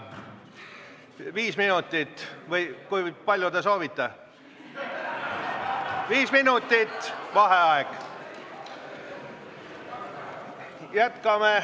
Viis minutit või kui palju te soovite?